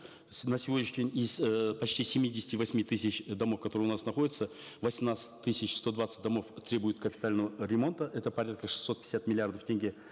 на сегодняшний день из э почти семидесяти восьми тысяч домов которые у нас находятся восемнадцать тысяч сто двадцать домов требуют капитального ремонта это порядка шестьсот пятьдесят миллиардов тенге